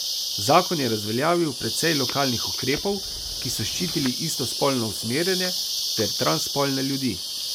Zakon je razveljavil precej lokalnih ukrepov, ki so ščitili istospolno usmerjene ter transspolne ljudi.